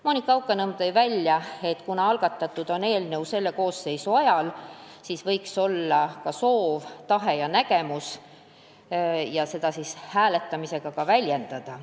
Monika Haukanõmm ütles, et kuna eelnõu on algatatud selle koosseisu ajal, siis võiks olla soov ja tahe seda ka hääletamisega väljendada.